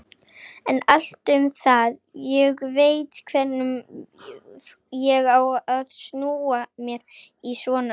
En allt um það, ég veit hvernig ég á að snúa mér í svona efnum.